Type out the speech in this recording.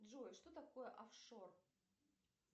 джой что такое офшор